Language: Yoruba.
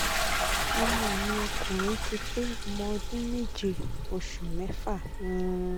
ọmọ mi ọkùnrin ti pé ọmọ ọdún méje oṣù mẹ́fà um